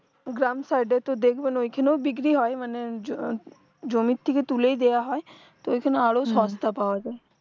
গ্রাম side তো দেখবেন ওই খানে ও বিক্রি হয় মানে জ জমির থেকে তুলেই দেওয়া হয় তো ঐখানে আরও সস্তা পাওয়া যায়